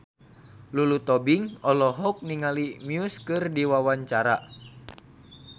Lulu Tobing olohok ningali Muse keur diwawancara